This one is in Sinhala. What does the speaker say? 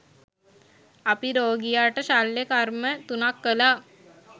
අපි රෝගියාට ශල්‍යකර්ම තුනක් කළා